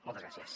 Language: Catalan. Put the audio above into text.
moltes gràcies